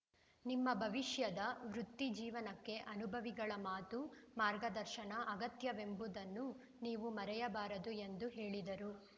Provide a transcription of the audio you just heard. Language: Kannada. ನಿಮ್ಮ ಭವಿಷ್ಯದ ವೃತ್ತಿ ಜೀವನಕ್ಕೆ ಅನುಭವಿಗಳ ಮಾತು ಮಾರ್ಗದರ್ಶನ ಅಗತ್ಯವೆಂಬುದನ್ನು ನೀವು ಮರೆಯಬಾರದು ಎಂದು ಹೇಳಿದರು